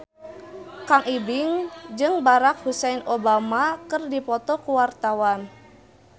Kang Ibing jeung Barack Hussein Obama keur dipoto ku wartawan